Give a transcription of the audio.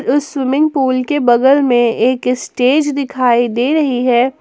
उस swimming pool के बगल में एक स्टेज दिखाई दे रही है।